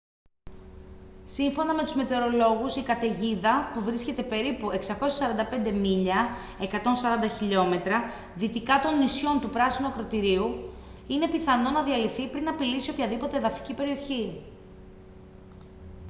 σύμφωνα με τους μετεωρολόγους η καταιγίδα που βρίσκεται περίπου 645 μίλια 140 χιλιόμετρα δυτικά των νησιών του πράσινου ακρωτηρίου είναι πιθανό να διαλυθεί πριν απειλήσει οποιαδήποτε εδαφική περιοχή